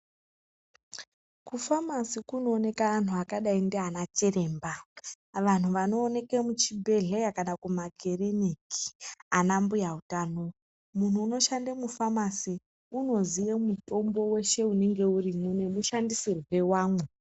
Kufamasi kunooneka antu akadai ndianachiremba vantu vanooneka muzvibhedheya kana mumakiriniki ana mbuya utano. Muntu unoshande mufamasi unoziye mutombo weshe unenge urimwo nemushandisirwe wawo.